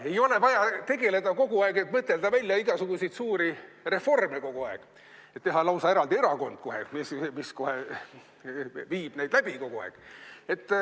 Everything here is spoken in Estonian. Ei ole vaja tegeleda kogu aeg, mõtelda välja igasuguseid suuri reforme, teha lausa eraldi erakond kohe, mis neid läbi viib.